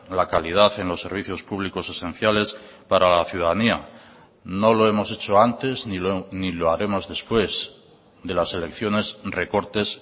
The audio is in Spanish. la calidad en los servicios públicos esenciales para la ciudadanía no lo hemos hecho antes ni lo haremos después de las elecciones recortes